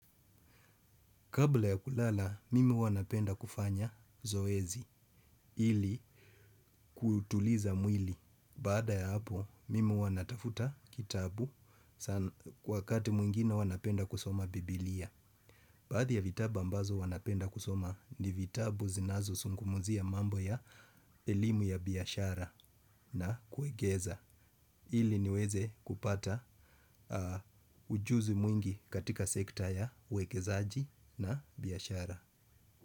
Kabla ya kulala, mimi huwanapenda kufanya zoezi ili kuutuliza mwili. Baada ya hapo, mimi huwanatafuta kitabu wakati mwingine huwanapenda kusoma Biblia. Baadhi ya vitabu ambazo huwanapenda kusoma ni vitabu zinazo zungumzia mambo ya elimu ya biashara na kuegeza. Ili niweze kupata ujuzi mwingi katika sekta ya uwekezaji na biashara.